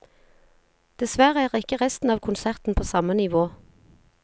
Dessverre er ikke resten av konserten på samme nivå.